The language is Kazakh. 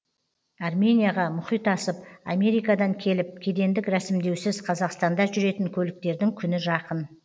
арменияға мұхит асып америкадан келіп кедендік рәсімдеусіз қазақстанда жүретін көліктердің күні жақын